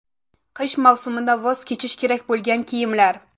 Qish mavsumida voz kechish kerak bo‘lgan kiyimlar .